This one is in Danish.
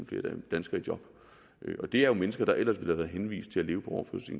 flere danskere i job og det er jo mennesker der ellers ville have været henvist til at leve